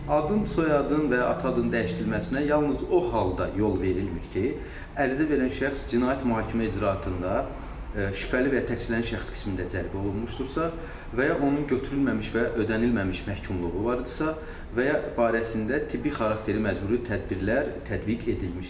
Adın, soyadın və ya ata adının dəyişdirilməsinə yalnız o halda yol verilmir ki, ərizə verən şəxs cinayət mühakimə icraatında şübhəli və ya təqsirlənən şəxs qismində cəlb olunmuşdursa və ya onun götürülməmiş və ödənilməmiş məhkumluğu var idisə və ya barəsində tibbi xarakterli məcburi tədbirlər tətbiq edilmişdir.